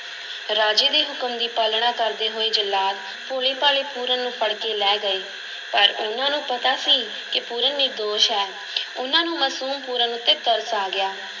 ਰਾਜੇ ਦੇ ਹੁਕਮ ਦੀ ਪਾਲਣਾ ਕਰਦੇ ਹੋਏ ਜੱਲਾਦ ਭੋਲੇ-ਭਾਲੇ ਪੂਰਨ ਨੂੰ ਫੜ ਕੇ ਲੈ ਗਏ ਪਰ ਉਹਨਾਂ ਨੂੰ ਪਤਾ ਸੀ ਕਿ ਪੂਰਨ ਨਿਰਦੋਸ਼ ਹੈ ਉਹਨਾਂ ਨੂੰ ਮਸੂਮ ਪੂਰਨ ਉੱਤੇ ਤਰਸ ਆ ਗਿਆ।